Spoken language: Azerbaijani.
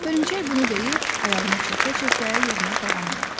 Hörümçək bunu deyib ayağını çəkə-çəkə yoluna davam elədi.